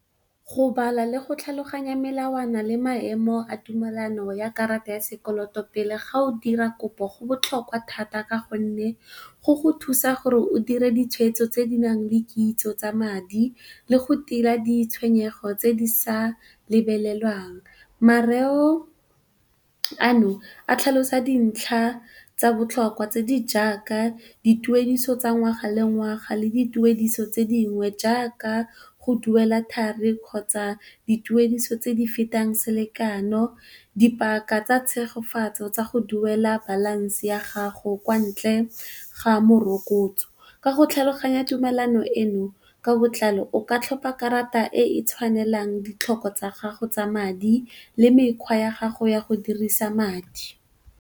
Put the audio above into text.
Go bala le go tlhaloganya melawana le maemo a tumelano ya karata ya sekoloto pele ga o dira kopo go botlhokwa thata ka gonne go go thusa gore o dire ditshwetso tse di nang le kitso tsa madi le go tila ditshwenyego tse di sa lebelelwang. Mareo ano a tlhalosa dintlha tsa botlhokwa tse di jaaka, dituediso tsa ngwaga le ngwaga le dituediso tse dingwe jaaka go duela thari, kgotsa dituediso tse di fetang selekano. Dipaka tsa tshegofatso tsa go duela balance ya gago kwa ntle ga morokotso. Ka go tlhaloganya tumelano eno ka botlalo o ka tlhopa karata e e tshwanelang ditlhoko tsa gago tsa madi le mekgwa ya gago ya go dirisa madi.